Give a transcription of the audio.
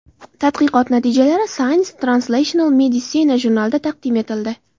Tadqiqot natijalari Science Translational Medicine jurnalida taqdim etildi .